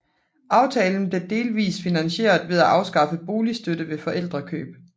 Aftalen blev delvis finansieret ved at afskaffe boligstøtte ved forældrekøb